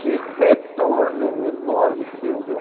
Que retorno enorme que deu, viu?